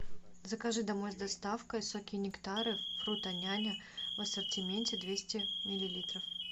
закажи домлй с доставкой соки и нектары фруто няня в ассортименте двести миллилитров